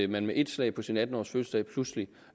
man med et slag på sin atten årsfødselsdag pludselig